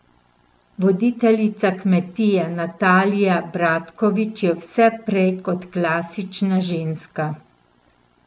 Voditeljica Kmetije Natalija Bratkovič je vse prej kot klasična ženska.